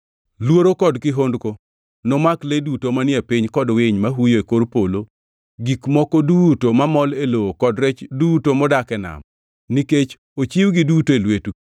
Luoro kod kihondko nomak le duto manie piny kod winy ma huyo e kor polo, gik moko duto mamol e lowo kod rech duto modak e nam nikech ochiwgi duto e lwetu.